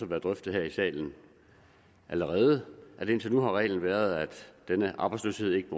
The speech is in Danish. været drøftet her i salen allerede indtil nu har reglen været at arbejdsløsheden ikke